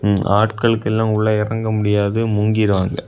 ஆட்களுக்கு எல்லா உள்ள இறங்க முடியாது முங்கிருவாங்க.